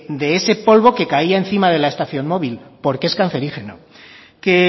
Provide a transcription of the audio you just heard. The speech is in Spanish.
de ese polvo que caía encima de la estación móvil porque es cancerígeno que